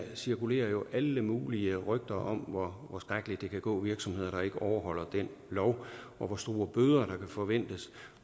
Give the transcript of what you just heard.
cirkulerer jo alle mulige rygter om hvor skrækkeligt det kan gå virksomheder der ikke overholder den lov og hvor store bøder der kan forventes